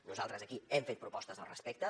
nosaltres aquí hem fet propostes al respecte